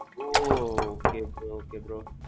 ஓஒ. okay okay okay bro.